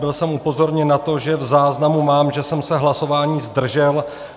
Byl jsem upozorněn na to, že v záznamu mám, že jsem se hlasování zdržel.